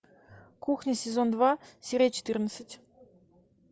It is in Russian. кухня сезон два серия четырнадцать